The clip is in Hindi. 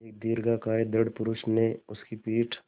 एक दीर्घकाय दृढ़ पुरूष ने उसकी पीठ